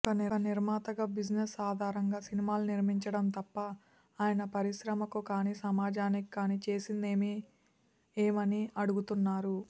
ఒక నిర్మాతగా బిజినెస్ ఆధారంగా సినిమాలు నిర్మించడం తప్ప ఆయన పరిశ్రమ కు కాని సమాజానికి కాని చేసిందేమని అడుగుతున్నారు